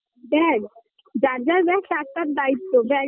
bag যার যার bag তার তার দায়িত্ব